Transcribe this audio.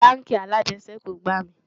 bánkì alàjesèkú gbà mí